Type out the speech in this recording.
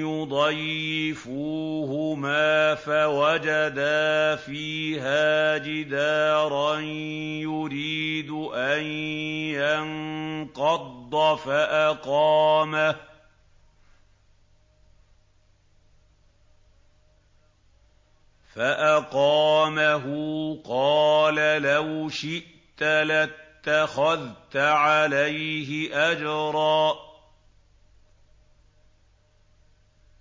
يُضَيِّفُوهُمَا فَوَجَدَا فِيهَا جِدَارًا يُرِيدُ أَن يَنقَضَّ فَأَقَامَهُ ۖ قَالَ لَوْ شِئْتَ لَاتَّخَذْتَ عَلَيْهِ أَجْرًا